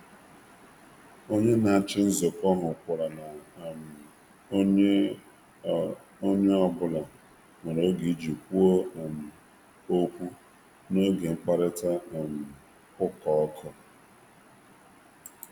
Onye n'ahụ maka usoro kwadoro na onye ọ bụla nwere oge i kwu okwu mgbe mkpakorịta ụka kpụ ọkụ n'ọnụ.